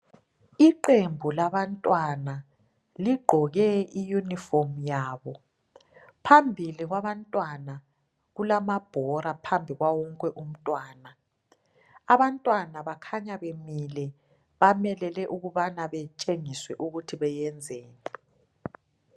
Iqembu labantwana ligqoke iyunifomi yabo phambili kwabantwana kulamabhola phambi kwawonke umntwana. Abantwana bakhanya bemile bamelele ukubana betshengiswe ukubana benzeni